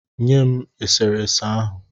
Nye m e sere ese ahụ.